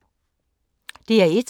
DR1